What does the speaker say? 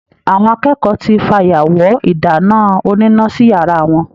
Àwọn akẹ́kọ̀ọ́ tí fayawọ́ ìdáná oníná sí yàrá wọn.